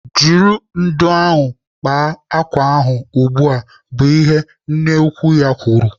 "Jiri ndụ̀ ahụ kpaa ákwà ahụ ugbu a!" bụ ihe nne ya ukwu kwuru.